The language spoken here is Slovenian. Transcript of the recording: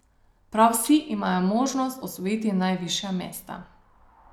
Prav vsi imajo možnost osvojiti najvišja mesta.